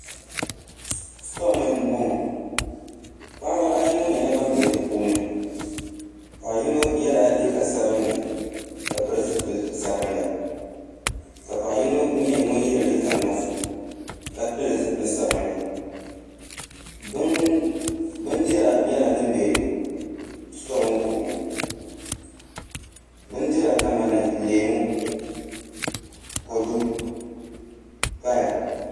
Stoo ni n boŋo paɣaba ayi ŋo nyɛla ban bɛ di puuni paɣa yino ŋo yɛla liiga sabinli ka pili zipili sabinli ka paɣa yino nyɛ ŋun yɛ liiga nuɣso ka pili zipili sabinli bindira nyɛla din bɛ stoo ŋo puuni bindira kamani leemu kodu paya